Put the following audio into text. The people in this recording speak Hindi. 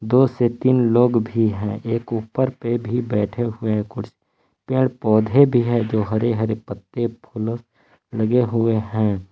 दो से तीन लोग भी हैं एक ऊपर पे भी बैठे हुए कुछ पेड़ पौधे भी है जो हरे हरे पत्ते फूल लगे हुए हैं।